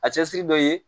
A cɛsiri dɔ ye